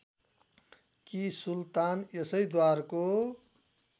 कि सुल्तान यसैद्वारको